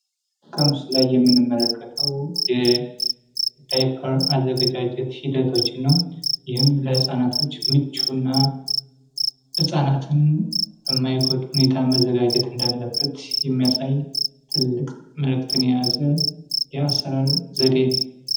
ከምስሉ ላይ የምንመለከተው የዳይበር አዘገጃጀት ሂደቶችን ይህም ለህፃናቶች ምቹና ህጻናትን የማይጎዱ ሁኔታ መዘጋጀት እንዳለበት የሚያሳይ ትልቅ መልክትን የያዘ የአሠራር ዘዴ ነው።